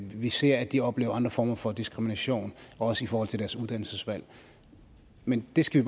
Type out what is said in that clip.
vi ser at de oplever andre former for diskrimination også i forhold til deres uddannelsesvalg men det skal